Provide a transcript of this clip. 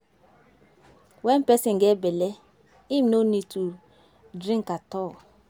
When person get bele, im no need to drink at all